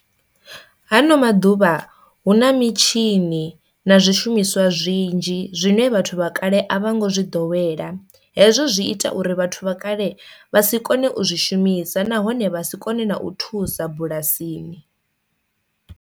Hano maḓuvha hu na mitshini na zwishumiswa zwinzhi zwine vhathu vha kale a vho ngo zwi ḓowela, hezwo zwi ita uri vhathu vha kale vha si kone u zwi shumisa nahone vha si kone na u thusa bulasini.